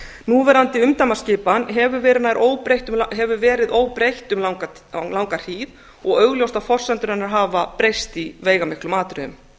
núverandi umdæmaskipan hefur verið óbreytt um langa hríð og augljóst að forsendur hennar hafa breyst í veigamiklum atriðum